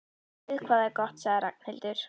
Guð hvað það er gott sagði Ragnhildur.